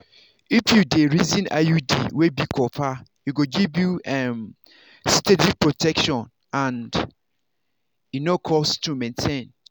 if you dey reason iud wey be copper e go give you um steady protection and e no cost to maintain.